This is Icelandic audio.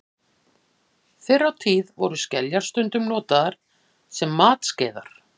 Fyrr á tíð voru skeljar stundum notaðar sem matskeiðar.